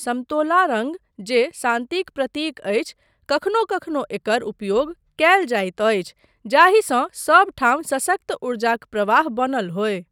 समतोला रङ्ग, जे शान्तिक प्रतीक अछि, कखनो कखनो एकर उपयोग कयल जाइत अछि जाहिसँ सब ठाम सशक्त उर्जाक प्रवाह बनल होय।